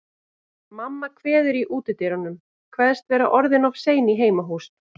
Mamma kveður í útidyrunum, kveðst vera orðin of sein í heimahús.